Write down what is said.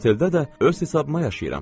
Otelda da öz hesabıma yaşayıram.